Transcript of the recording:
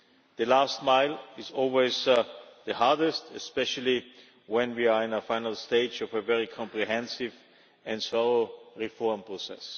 The last mile is always the hardest, especially when we are in the final stage of a very comprehensive and slow reform process.